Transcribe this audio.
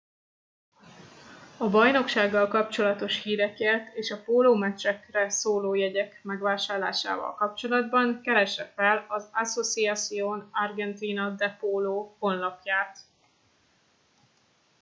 a bajnokságokkal kapcsolatos hírekért és a pólómeccsekre szóló jegyek megvásárlásával kapcsolatban keresse fel az asociacion argentina de polo honlapját